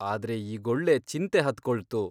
ಆದ್ರೆ ಈಗೊಳ್ಳೆ ಚಿಂತೆ ಹತ್ಕೊಳ್ತು.